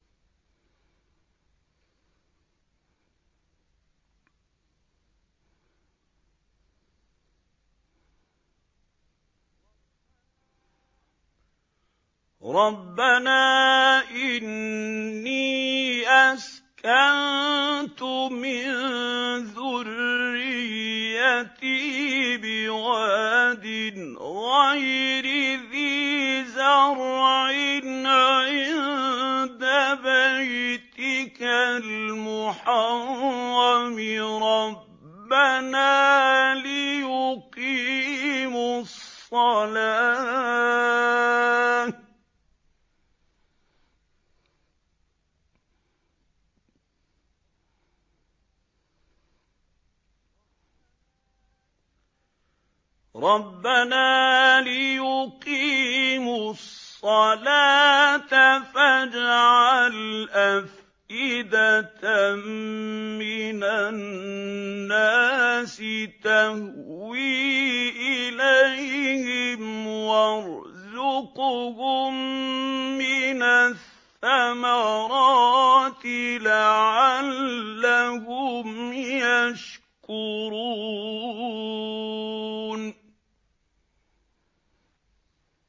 رَّبَّنَا إِنِّي أَسْكَنتُ مِن ذُرِّيَّتِي بِوَادٍ غَيْرِ ذِي زَرْعٍ عِندَ بَيْتِكَ الْمُحَرَّمِ رَبَّنَا لِيُقِيمُوا الصَّلَاةَ فَاجْعَلْ أَفْئِدَةً مِّنَ النَّاسِ تَهْوِي إِلَيْهِمْ وَارْزُقْهُم مِّنَ الثَّمَرَاتِ لَعَلَّهُمْ يَشْكُرُونَ